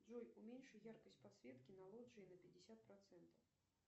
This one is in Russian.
джой уменьши яркость подсветки на лоджии на пятьдесят процентов